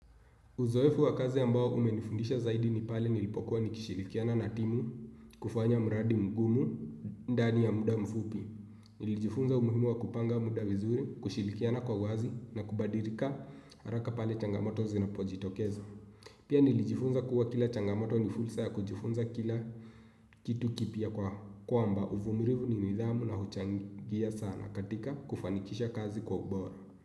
Uzoefu wa kazi ambao umenifundisha zaidi ni pale nilipokuwa nikishirikiana na timu, kufanya mradi mgumu ndani ya muda mfupi. Nilijifunza umuhimu wa kupanga muda vizuri, kushirikiana kwa uwazi na kubadilika haraka pale changamoto zinapojitokezo. Pia nilijifunza kuwa kila changamoto ni fursa ya kujifunza kila kitu kipya kwamba uvumulivu ni nidhamu na huchangia sana katika kufanikisha kazi kwa ubora.